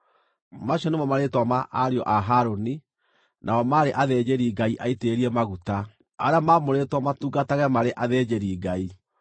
Macio nĩmo marĩĩtwa ma ariũ a Harũni, nao maarĩ athĩnjĩri-Ngai aitĩrĩrie maguta, arĩa maamũrĩtwo matungatage marĩ athĩnjĩri-Ngai.